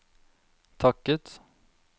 takket